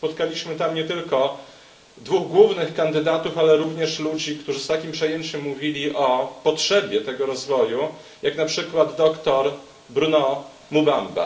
Spotkaliśmy tam nie tylko dwóch głównych kandydatów, ale również ludzi, którzy z takim przejęciem mówili o potrzebie tego rozwoju, jak na przykład doktor Bruno Ben Moubamba.